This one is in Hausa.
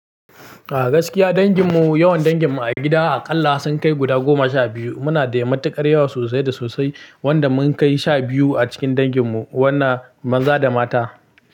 A gaskiya dangin mu, yawan dangin mu a gida aƙalla sun kai guda goma sha biyu. Muna da matuƙar yawa sosai da sosai wanda mun kai sha biyu a cikin dangin mu wanna maza da mata.